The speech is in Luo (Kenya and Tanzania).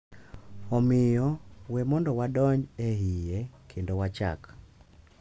Omiyo, we mondo wadonj e iye kendo wachak!